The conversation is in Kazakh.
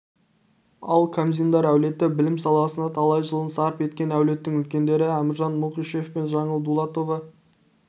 ал қамзиндар әулеті білім саласына талай жылын сарп еткен әулеттің үлкендері әміржан мұқышев пен жаңыл дулатова